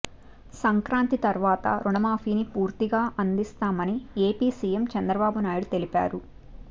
సంక్రాంతి తర్వాత రుణమాఫీని పూర్తిగా అందిస్తామని ఏపీ సీఎం చంద్రబాబు నాయుడు తెలిపారు